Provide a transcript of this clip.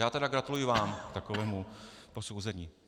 Já tedy gratuluji vám k takovému posouzení.